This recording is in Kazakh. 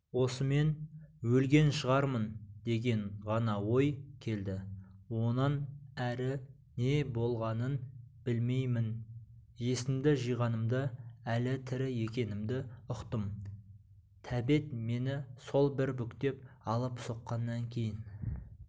осымен өлген шығармын деген ғана ой келді онан әрі не болғанын білмеймін есімді жиғанымда әлі тірі екенімді ұқтым тәбет мені сол бір бүктеп алып соққаннан кейін